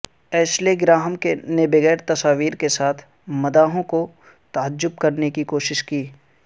Ashley Graham نے بغیر تصاویر کے ساتھ مداحوں کو تعجب کرنے کی کوشش کی